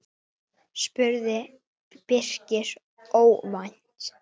spurði Birkir óvænt.